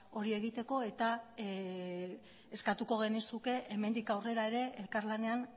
hori egiteko eta eskatuko genizuke hemendik aurrera ere elkarlanean